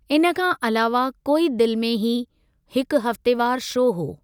इन खां अलावह 'कोई दिलि में ही' हिकु हफ़्तेवार शो हो।